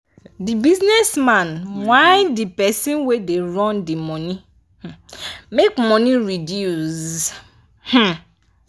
the business man whine the person wey da run d work make money reduce um